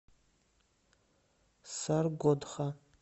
саргодха